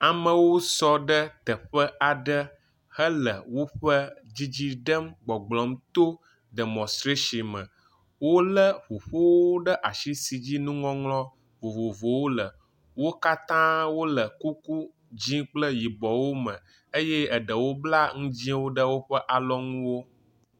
Amewo sɔ ɖe teƒe aɖe hele woƒe dzidzi ɖem gbɔgblɔm to demɔstrɛsime. Wolé ŋuƒowo ɖe asi si dzi nuŋɔŋlɔ vovovowo le. Wo katã wole kuku dzĩ kple yibɔwo me eye aɖewo bla nu dzĩwo ɖe woƒe alɔnuwo.